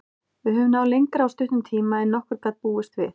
Við höfum náð lengra á stuttum tíma en nokkur gat búist við.